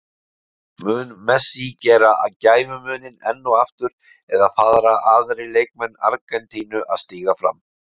Mun Messi gera gæfumuninn enn og aftur eða fara aðrir leikmenn Argentínu að stíga upp?